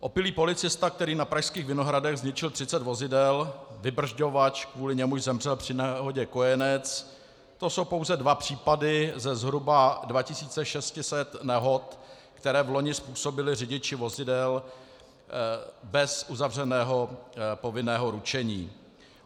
Opilý policista, který na pražských Vinohradech zničil 30 vozidel, vybržďovač, kvůli němuž zemřel při nehodě kojenec, to jsou pouze dva případy ze zhruba 2 600 nehod, které loni způsobili řidiči vozidel bez uzavřeného povinného ručení.